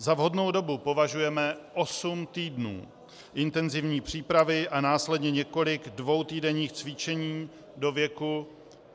Za vhodnou dobu považujeme osm týdnů intenzivní přípravy a následně několik dvoutýdenních cvičení do věku